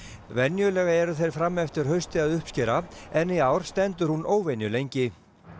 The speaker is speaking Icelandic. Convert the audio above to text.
venjulega eru þeir fram eftir hausti að uppskera en í ár stendur hún óvenju lengi